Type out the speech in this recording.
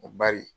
N ko bari